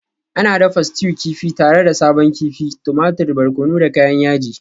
Ana dafa stew kifi tare da sabon kifi, tumatir, barkono da kayan yaji.